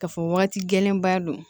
K'a fɔ wagati gɛlɛnbaa don